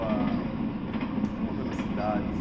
O que que mudou na cidade?